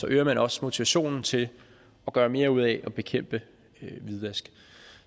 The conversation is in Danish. øger man også motivationen til at gøre mere ud af at bekæmpe hvidvask